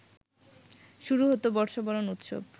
শুরু হত বর্ষবরণ উৎসব